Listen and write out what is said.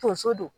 Tonso don